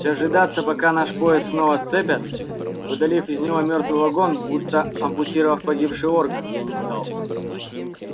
дожидаться пока наш поезд снова сцепят удалив из него мёртвый вагон будто ампутировав погибший орган я не стал